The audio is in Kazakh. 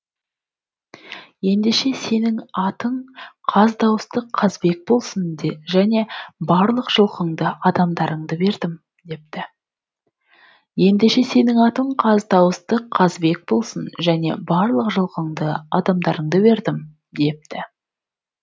ендеше сенің атың қаз дауысты қазыбек болсын және барлық жылқыңды адамдарыңды бердім депті